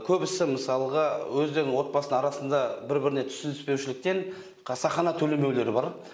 көбісі мысалға өздерінің отбасының арасында бір біріне түсініспеушіліктен қасақана төлемеулер бар